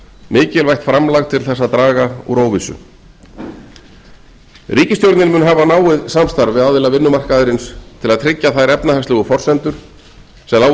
mikilvægt framlag til þess að draga úr óvissu ríkisstjórnin mun hafa náið samstarf við aðila vinnumarkaðarins til að tryggja þær efnahagslegu forsendur sem liggja